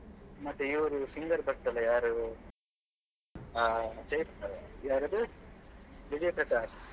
ಮತ್ತೆ ಇವ್ರು singer ಬರ್ತಾರೆ ಯಾರು ಹಾ ಯಾರದು ವಿಜಯ್ ಪ್ರಕಾಶ್.